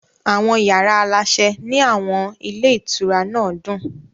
Àwọn yàrá aláṣẹ ní àwọn ilé ìtura náà dùn.